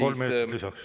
Kolm minutit lisaks.